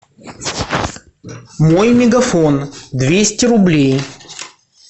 мой мегафон двести рублей